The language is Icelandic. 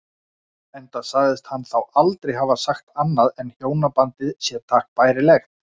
Enda segist hann þá aldrei hafa sagt annað en hjónabandið sé takk bærilegt.